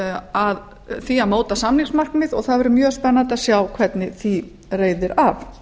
að því að móta samningsmarkmið og það verður mjög spennandi að sjá hvernig því reiðir af